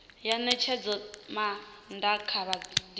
ya ṋetshedzomaa ṋda kha vhapondiwa